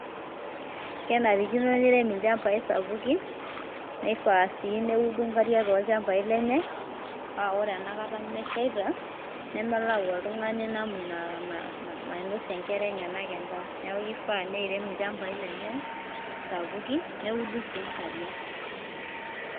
Kenarikino neirem ilchambai sapukin nifaa sii neudo nkariak too ilchambai lenye, paa ore enakata meshaita nemelau oltung`ani namna nainosie nkera enyenak endaa. Niaku kifaa niirem ilchambai lenye sapukin neudu sii nkariak.